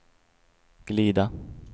glida